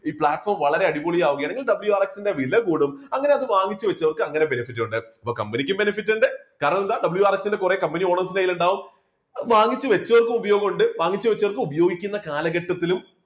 ഈ platform വളരെ അടിപൊളിയാകുകയാണ് WRX ന്റെ വില കൂടും. അങ്ങനെ അത് വാങ്ങിച്ചു വെച്ചവർക്ക് അങ്ങനെ benefit ഉണ്ട് കമ്പനിക്ക് benefit ഉണ്ട് കാരണം എന്താ WRX ന്റെ കുറെ കമ്പനി owners ന്റെ കയ്യിൽ ഉണ്ടാവും വാങ്ങിച്ചു വെച്ചവർക്ക് ഉപയോഗമുണ്ട് വാങ്ങിച്ചുവെച്ചവർ ഉപയോഗിക്കുന്ന കാലഘട്ടത്തിലും